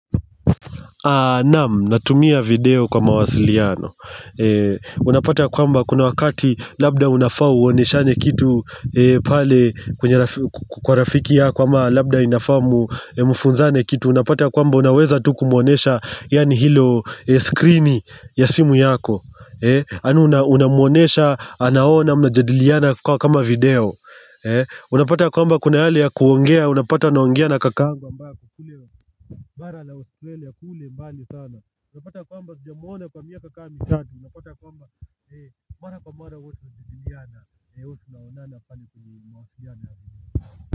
Naam, natumia video kwa mawasiliano Unapata kwamba kuna wakati labda unafaa uoneshane kitu Kwa rafiki yako ama labda unafaumfunzane kitu Unapata kwamba unaweza tu kumuonesha yani hilo screen ya simu yako Anu unamuonesha, anaona, unajadiliana kwa kama video Unapata kwamba kuna hali ya kuongea, unapata naongea na kakangu Kwa mba kulele ya kule mbandi sana Napata kwamba kudya mwana kwa miaka kami sati Napata kwamba mara kwa mwana watu zibiliana watu naonana pali kwa mawasuiana.